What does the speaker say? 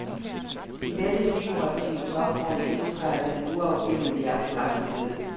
I dette figurative tomrum indtræder den uafbilledlige abstrakte død.